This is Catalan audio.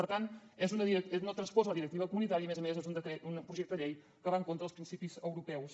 per tant no transposa la directiva comunitària i a més a més és un projecte de llei que va en contra dels principis europeus